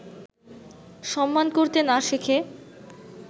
সম্মান করতে না শেখে